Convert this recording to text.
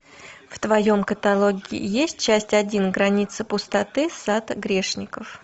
в твоем каталоге есть часть один граница пустоты сад грешников